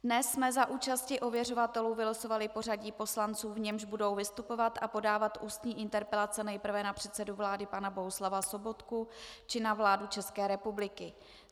Dnes jsme za účasti ověřovatelů vylosovali pořadí poslanců, v němž budou vystupovat a podávat ústní interpelace nejprve na předsedu vlády pana Bohuslava Sobotku či na vládu České republiky.